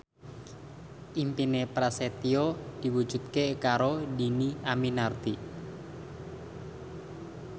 impine Prasetyo diwujudke karo Dhini Aminarti